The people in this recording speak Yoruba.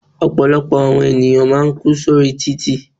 Ọ̀pọ̀lọpọ̀ àwọn ènìyàn máà ń kú sórí títì.